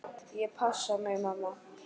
Ég passa mig, mamma.